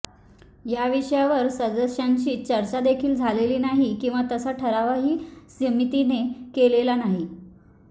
या विषयावर सदस्यांशी चर्चादेखील झालेली नाही किंवा तसा ठरावही समितीने केलेला नाही